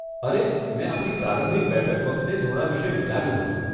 અરે, મેં આપણી પ્રારંભિક બેઠક વખતે થોડાં વિષે વિચાર્યું હતું.